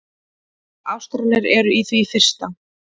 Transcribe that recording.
Ástralar eru í því fyrsta.